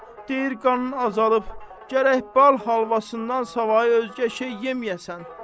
deyir qanın azalıb, gərək bal halvasından savayı özgə şey yeməyəsən.